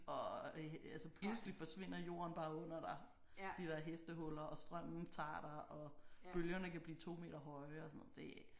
Og altså pludselig forsvinder jorden bare under dig fordi der er hestehuller og strømmen tager dig og bølgerne kan blive 2 meter høje og sådan noget det